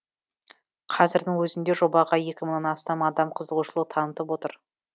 қазірдің өзінде жобаға ек мыңнан астам адам қызығушылық танытып отыр